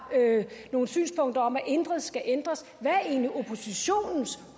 nogle synspunkter om at intet skal ændres hvad er egentlig oppositionens